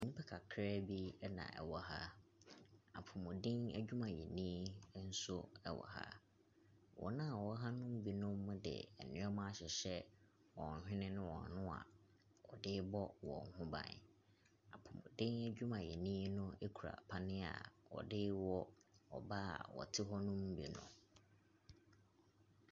Nnipa kakra bi na wɔwɔ ha. Apomuden adwumayɛni nso wɔ ha. Wɔn a wɔwɔ ha no mu binom de nneɛma ahyehyɛ wɔn hwene ne wɔn ano a wɔde rebɔ wɔn ho ban. Apomuden adwumayɛni no kura panneɛ a ɔde rewɔ ɔbaa a ɔte hɔnom bi no.